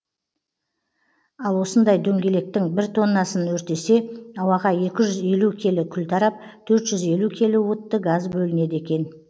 ал осындай дөңгелектің бір тоннасын өртесе ауаға екі жүз елу келі күл тарап төрт жүз елу келі уытты газ бөлінеді екен